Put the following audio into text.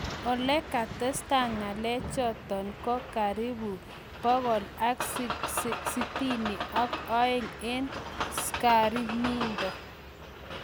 Olekitesetai ngalechotok kokikaribu 162 eng sakramindo